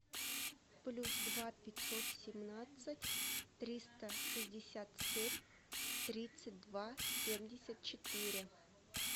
плюс два пятьсот семнадцать триста шестьдесят семь тридцать два семьдесят четыре